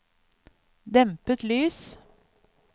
dempet lys